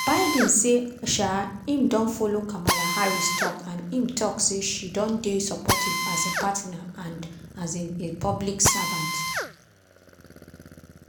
biden say um im don follow kamala harris tok and im tok say she don dey supportive as "a partner and um a public servant".